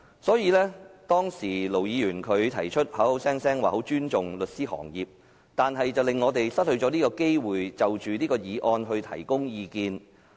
雖然盧議員聲稱他很尊重律師行業，但他卻令我們無法就"察悉議案"發表意見。